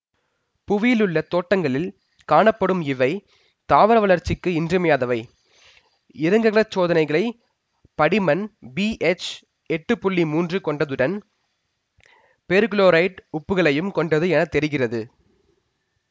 புவியிலுள்ள தோட்டங்களில் காணப்படும் இவை தாவர வளர்ச்சிக்கு இன்றியமையாதவை இறங்குகலச் சோதனைகளின் படி மண் பிஎச் எட்டு புள்ளி மூன்று கொண்டதுடன் பேர்குளோரேட்டு உப்புக்களையும் கொண்டது என தெரிகிறது